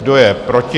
Kdo je proti?